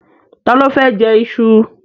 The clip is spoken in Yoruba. Ta ló fẹ́ jẹ iṣu?